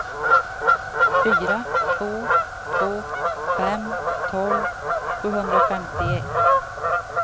fyra två två fem tolv sjuhundrafemtioett